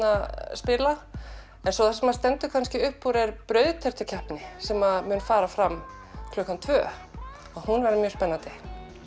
spila en svo það sem stendur kannski upp úr er brauðtertukeppni sem mun fara fram klukkan tvö og hún verður mjög spennandi